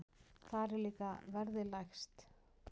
Þar er líka verðið lægst.